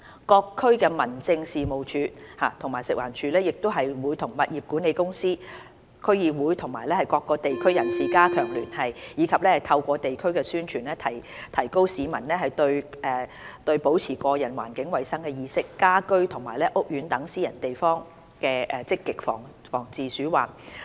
各區民政事務處及食環署亦會與物業管理公司、區議會及地區人士加強聯繫，以及透過地區宣傳，提高市民對保持個人和環境衞生的意識，在家居和屋苑等私人地方積極防治鼠患。